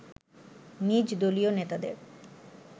নিজ দলীয় নেতাদের